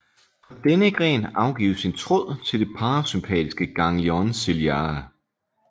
Fra denne gren afgives en tråd til det parasympatiske ganglion ciliare